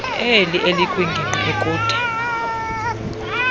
oli elikwingingqi ekude